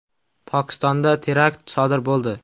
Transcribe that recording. Pokistonda terakt sodir bo‘ldi.